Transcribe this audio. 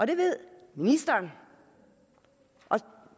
det ved ministeren